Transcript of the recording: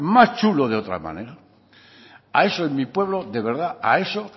más chulo de otra manera a eso en mi pueblo de verdad a eso